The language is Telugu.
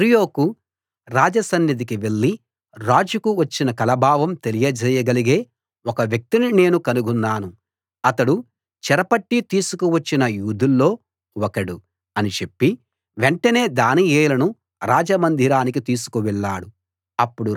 అర్యోకు రాజ సన్నిధికి వెళ్లి రాజుకు వచ్చిన కల భావం తెలియ జేయగలిగే ఒక వ్యక్తిని నేను కనుగొన్నాను అతడు చెరపట్టి తీసుకువచ్చిన యూదుల్లో ఒకడు అని చెప్పి వెంటనే దానియేలును రాజమందిరానికి తీసుకు వెళ్ళాడు